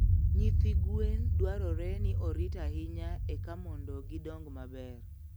Nyithi gwen dwarore ni orit ahinya eka mondo gidong maber.